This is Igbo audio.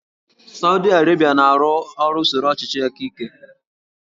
Sawdi Arabia na-arụ ọrụ usoro ọchịchị aka ike